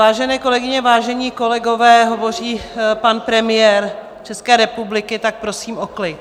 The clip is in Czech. Vážené kolegyně, vážení kolegové, hovoří pan premiér České republiky, tak prosím o klid.